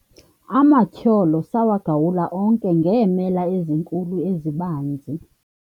amatyholo sawagawula onke ngeemela ezinkulu ezibanzi